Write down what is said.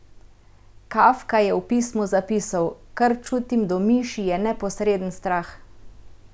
Kafka je v pismu zapisal: "Kar čutim do miši, je neposreden strah.